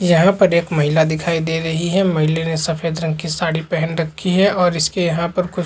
यहाँ पर एक महिला दिखाई दे रही है महिले ने सफ़ेद रंग की साड़ी पेहन रखी है और इसके यहाँ पर कुछ--